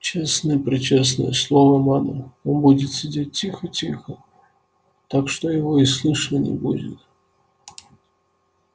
честное-пречестное слово мама он будет сидеть тихо-тихо так что его и слышно не будет